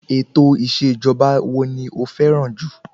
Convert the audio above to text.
Ètò ìṣèjọba wo ni o fẹ́ràn jù?